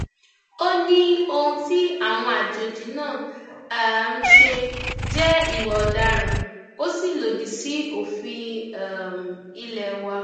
ó ní ohun tí àwọn àjòjì náà um ṣe jẹ ìwà ọdaràn ó sì lòdì sí òfin ilé um wa